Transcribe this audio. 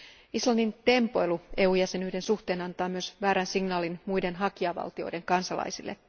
Islannin tempoilu EU jäsenyyden suhteen antaa myös väärän signaalin muiden hakijavaltioiden kansalaisille.